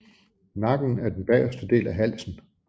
Nakken er den bagerste del af halsen